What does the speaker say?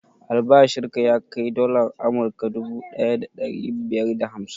Albashin ka ya kai dalar amurka duvu ɗaya da ɗari biyar da hamsin?